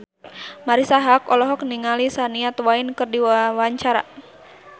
Marisa Haque olohok ningali Shania Twain keur diwawancara